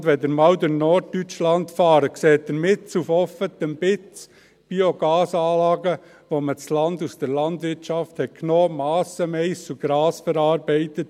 Wenn Sie einmal durch Norddeutschland fahren, sehen Sie mitten auf offener Strecke Biogasanlagen, für die man das Land aus der Landwirtschaft genommen hat und mit Subventionen Massen von Mais und Gras verarbeitet.